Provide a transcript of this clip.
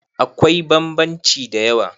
akwai bambanci da yawa